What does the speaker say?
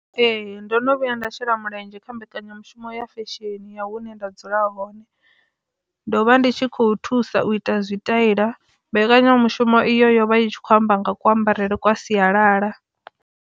Ee, ndo no vhuya nda shela mulenzhe kha mbekanyamushumo ya fesheni ya hune nda dzula hone ndo vha ndi tshi khou thusa u ita zwi taila mbekanyamushumo iyo yovha i tshi khou amba nga kuambarele kwa sialala.